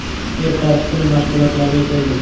Ertasi kuni mashg‘ulotlarga keldim.